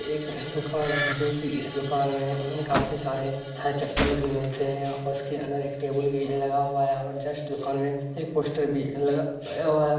एक है दुकान है जो की इस दुकान में काफ़ी सारे हैं चप्पल भी मिलते हैं। और उसके अंदर एक टेबुल भी है लगा हुआ है और जस्ट दुकान में एक पोस्टर भी लगा हुआ है।